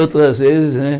Outras vezes, né?